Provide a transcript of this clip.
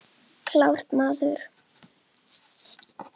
Klárt, maður!